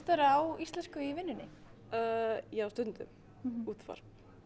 á íslensku í vinnunni já stundum útvarp